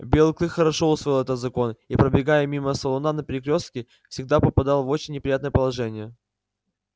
белый клык хорошо усвоил этот закон и пробегая мимо салуна на перекрёстке всегда попадал в очень неприятное положение